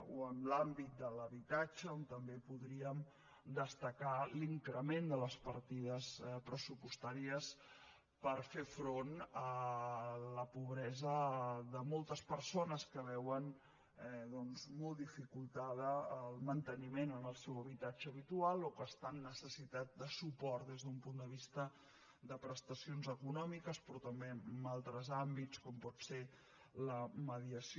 o en l’àmbit de l’habitatge on també podríem destacar l’increment de les partides pressupostàries per fer front a la pobresa de moltes persones que veuen molt dificultat el manteniment en el seu habitatge habitual o que estan en necessitat de suport des d’un punt de vista de prestacions econòmiques però també en altres àmbits com pot ser la mediació